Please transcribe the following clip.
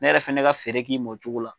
Ne yɛrɛ fana ne ka fɛɛrɛ k'i ma o cogo la.